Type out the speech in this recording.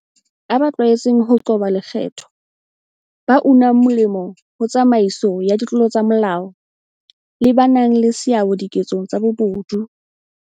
A ba tlwaetseng ho qoba lekgetho, ba unang molemo ho tsamaiso ya ditlolo tsa molao, le ba nang le seabo diketsong tsa bobodu.